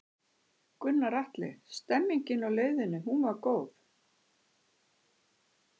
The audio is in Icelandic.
Gunnar Atli: Stemningin á leiðinni, hún var góð?